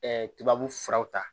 tubabu furaw ta